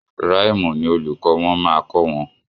Ràìmù ni olùkọ́ wọn máa kọ wọn.